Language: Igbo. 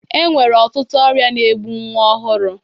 E nwere ọtụtụ ọrịa na-egbụ nnwa ọhụrụ.